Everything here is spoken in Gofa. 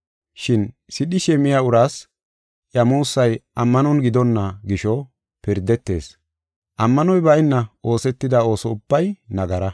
Shin sidhishe miya uraas iya muussay ammanon gidonna gisho pirdetees. Ammanoy bayna oosetida ooso ubbay nagara.